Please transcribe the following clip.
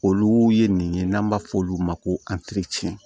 Olu ye nin ye n'an b'a fɔ olu ma ko